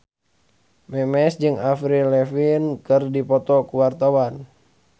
Memes jeung Avril Lavigne keur dipoto ku wartawan